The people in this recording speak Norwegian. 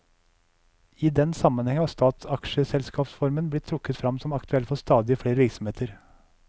I den sammenheng har statsaksjselskapsformen blitt trukket frem som aktuell for stadig flere virksomheter.